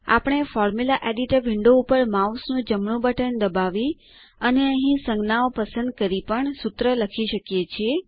આપણે formula editor window ઉપર mouse નું જમણું બટન દબાવી અને અહીં સંજ્ઞાઓ પસંદ કરીને પણ સૂત્ર લખી શકીએ છીએ